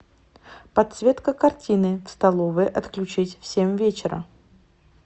подсветка картины в столовой отключить в семь вечера